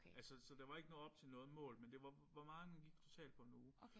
Altså så der var ikke noget op til noget mål men det var hvor meget man gik totalt på 1 uge